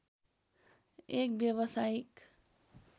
एक व्यवसायीक